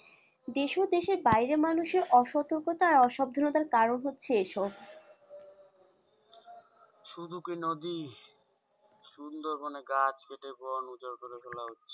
দেশ ও দেশের বাইরে মানুষের অসতর্কতা আর অসাবধানতার কারণ হচ্ছে এসব শুধু কি নদী? সুন্দরবনে গাছ কেটে বন উজাড় করে ফেলা হচ্ছে।